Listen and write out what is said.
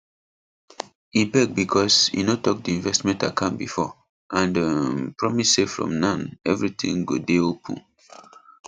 e beg because e no talk the investment account before and um promise say from now everything go day open